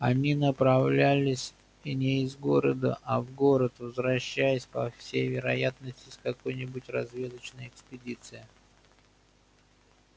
они направлялись не из города а в город возвращаясь по всей вероятности из какой нибудь разведочной экспедиции